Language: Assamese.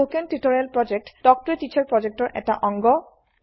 স্পোকেন টিউটোৰিয়েল প্ৰকল্প তাল্ক ত a টিচাৰ প্ৰকল্পৰ এটা অংগ